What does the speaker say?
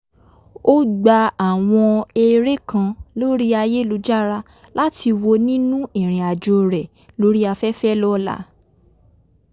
ó gba àwọn eré kan lórí ayélujára láti wo nínú ìrìn àjò rè lórí afẹ́fẹ́ lọ́la